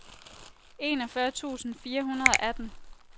enogfyrre tusind fire hundrede og atten